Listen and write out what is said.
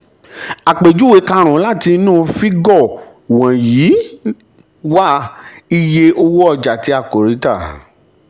àpèjúwe um karùn-ún láti inú fígọ̀ wọ̀nyí wá iye owó ọjà um tí a kò rí tà.